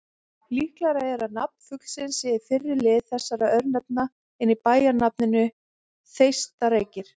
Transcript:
Líklegra er að nafn fuglsins sé í fyrri lið þessara örnefna en í bæjarnafninu Þeistareykir.